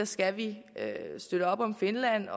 skal støtte op om finland